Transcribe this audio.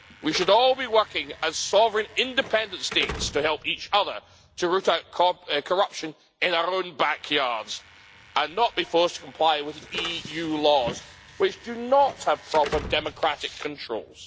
We should all be working as sovereign independent states to help each other to root out corruption in our own back yards and not be forced to comply with EU laws which do not have proper democratic controls.